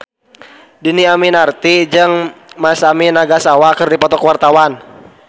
Dhini Aminarti jeung Masami Nagasawa keur dipoto ku wartawan